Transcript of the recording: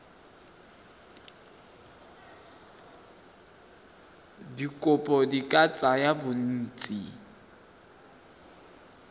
dikopo di ka tsaya bontsi